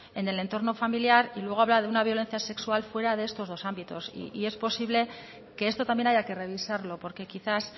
en el entorno familiar y luego habla de una violencia sexual fuera de estos dos ámbitos y es posible que esto también haya que revisarlo porque quizás